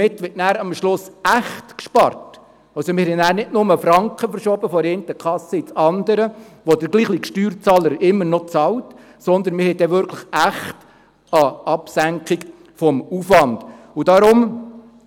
Damit wird am Schluss echt gespart, also wir werden nicht nur Franken von der einen in die andere Kasse verschoben haben – vom selben Steuerzahler immer noch bezahlt –, sondern wir werden eine echte Absenkung des Aufwands haben.